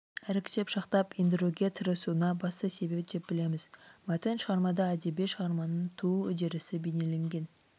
іріктеп шақтап ендіруге тырысуына басты себеп деп білеміз мәтін шығармада әдеби шығарманың туу үдерісі бейнеленген